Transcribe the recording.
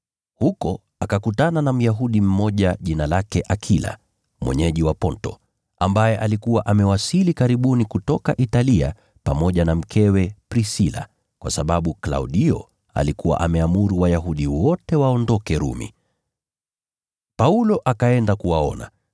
Huko akakutana na Myahudi mmoja jina lake Akila, mwenyeji wa Ponto, ambaye alikuwa amewasili karibuni kutoka Italia pamoja na mkewe Prisila, kwa sababu Klaudio alikuwa ameamuru Wayahudi wote waondoke Rumi. Paulo akaenda kuwaona,